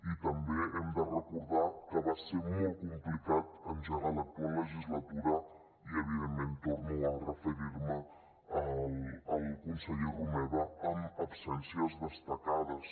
i també hem de recordar que va ser molt complicat engegar l’actual legislatura i evidentment torno a referir me al conseller romeva amb absències destacades